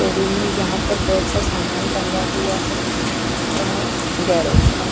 room है यह पर बोहोत सा सामान टंगा हुआ है आ गेरेज का--